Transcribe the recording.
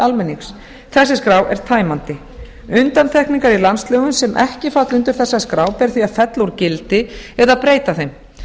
almennings þessi skrá er tæmandi undantekningar í landslögum sem ekki falla undir þessa skrá ber því að fella úr gildi eða breyta þeim